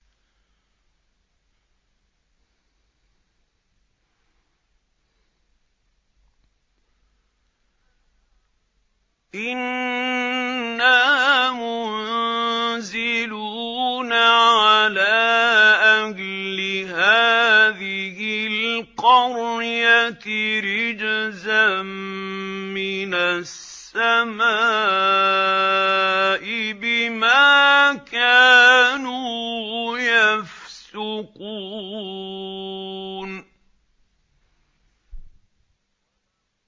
إِنَّا مُنزِلُونَ عَلَىٰ أَهْلِ هَٰذِهِ الْقَرْيَةِ رِجْزًا مِّنَ السَّمَاءِ بِمَا كَانُوا يَفْسُقُونَ